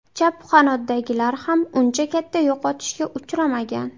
Chap qanotdagilar ham uncha katta yo‘qotishga uchramagan.